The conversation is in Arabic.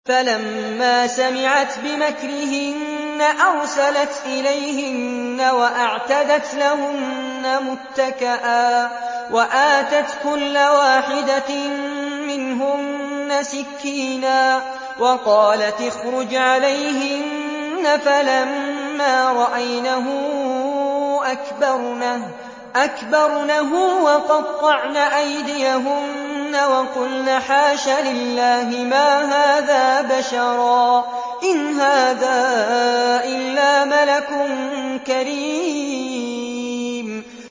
فَلَمَّا سَمِعَتْ بِمَكْرِهِنَّ أَرْسَلَتْ إِلَيْهِنَّ وَأَعْتَدَتْ لَهُنَّ مُتَّكَأً وَآتَتْ كُلَّ وَاحِدَةٍ مِّنْهُنَّ سِكِّينًا وَقَالَتِ اخْرُجْ عَلَيْهِنَّ ۖ فَلَمَّا رَأَيْنَهُ أَكْبَرْنَهُ وَقَطَّعْنَ أَيْدِيَهُنَّ وَقُلْنَ حَاشَ لِلَّهِ مَا هَٰذَا بَشَرًا إِنْ هَٰذَا إِلَّا مَلَكٌ كَرِيمٌ